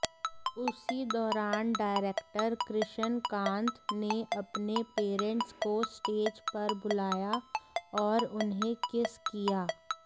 उसी दौरान डायरेक्टर कृष्णकांत ने अपने पेरेंट्स को स्टेज पर बुलाया और उन्हें किस किया